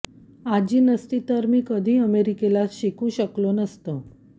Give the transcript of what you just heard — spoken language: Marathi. आजी नसती तर मी कधी अमेरिकेला शिकू शकलो नसतो